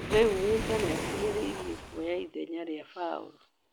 Rĩu Musa nĩakuhĩrĩirie kuoya ithenya rĩa Baũrũ.